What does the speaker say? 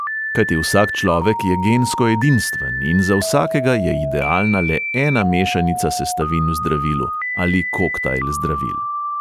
Kajti vsak človek je gensko edinstven in za vsakega je idealna le ena mešanica sestavin v zdravilu ali koktajl zdravil.